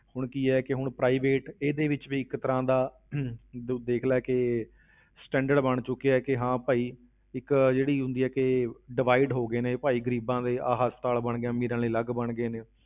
ਹੁਣ ਕੀ ਹੈ ਕਿ ਹੁਣ private ਇਹਦੇ ਵਿੱਚ ਵੀ ਇੱਕ ਤਰ੍ਹਾਂ ਦਾ ਤੂੰ ਦੇਖ ਲੈ ਕਿ standard ਬਣ ਚੁੱਕਿਆ ਕਿ ਹਾਂ ਭਾਈ ਇਕ ਜਿਹੜੀ ਹੁੰਦੀ ਹੈ ਕਿ divide ਹੋ ਗਏ ਨੇ ਵੀ ਭਾਈ ਗ਼ਰੀਬਾਂ ਲਈ ਆਹ ਹਸਪਤਾਲ ਅਮੀਰਾਂ ਲਈ ਅਲੱਗ ਬਣ ਗਏ ਨੇ